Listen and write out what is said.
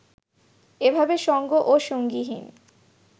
এভাবে সঙ্গ ও সঙ্গীহীন